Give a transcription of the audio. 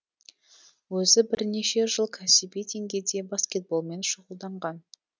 өзі бірнеше жыл кәсіби деңгейде баскетболмен шұғылданған